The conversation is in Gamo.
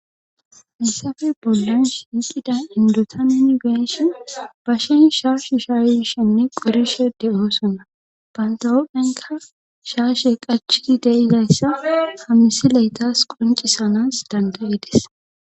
hissafe bolduns hyiqida indota nin geeshi bashin shaashu shaaishenne qorishe de7oosona bantawopphenka shaashe qachki deizayssa hamisi leetas qoncisanas dandayides